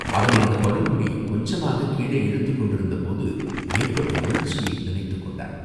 அவனை அந்தப் படுகுழி கொஞ்சமாகக் கீழே இழுத்துக் கொண்டிருந்த போது ஏற்பட்ட உணர்ச்சியை நினைத்துக் கொண்டான்.